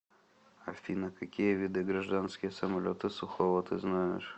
афина какие виды гражданские самолеты сухого ты знаешь